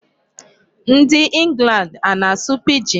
Ndị England ana-asụ Pidgin?